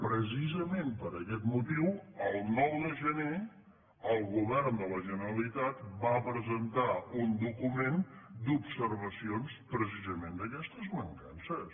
precisament per aquest motiu el nou de gener el govern de la generalitat va presentar un document d’observacions precisament d’aquestes mancances